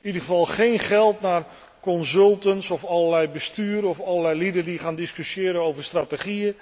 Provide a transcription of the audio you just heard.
In ieder geval geen geld naar consultants of allerlei besturen of allerlei lieden die gaan discussiëren over strategieën.